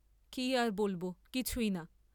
কি আর বলব, কিছুই না।